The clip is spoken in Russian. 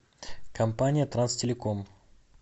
компания транстелеком